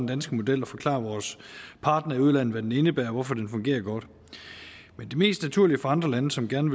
danske model og forklare vores partnere i udlandet hvad den indebærer og hvorfor den fungerer godt men det mest naturlige for andre lande som gerne